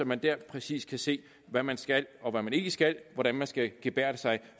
man der præcis kan se hvad man skal og hvad man ikke skal hvordan man skal gebærde sig